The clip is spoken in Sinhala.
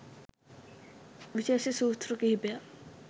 විශේෂ සූත්‍ර කීපයක්